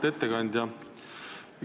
Auväärt ettekandja!